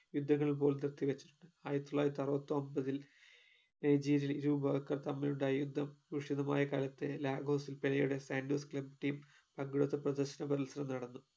ആയിരത്തിതൊള്ളായിരത്തിഅറുപത്തിയൊൻപത്തിൽ നൈജീരിയയിൽ ജൂബഹാക്കർ തമ്മിലുണ്ടായ യുദ്ധം കൂഷിതമായ കാലത്തെ ലാഹോസിൽ പെലെയുടെ സാന്റോസ് team അങ്കണത്തിൽ പ്രദർശന മത്സരം നടന്നു